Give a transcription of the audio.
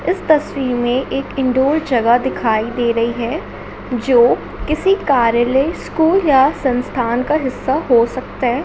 इस तसवीर में एक इनडोर जगह दिखाई दे रही है जो किसी कार्यालय स्कूल या संस्थान का हिसा हो सकता है।